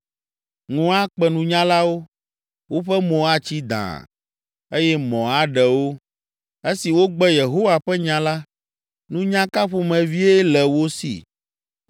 Ŋu akpe nunyalawo, woƒe mo atsi dãa, eye mɔ aɖe wo. Esi wogbe Yehowa ƒe nya la, nunya ka ƒomevie le wo si?